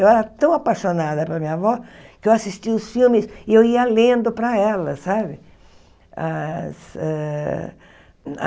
Eu era tão apaixonada pela minha avó que eu assistia os filmes e eu ia lendo para ela, sabe? As a